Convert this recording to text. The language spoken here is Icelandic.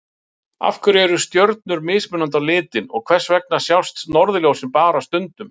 Af hverju eru stjörnur mismunandi á litinn og hvers vegna sjást norðurljósin bara stundum?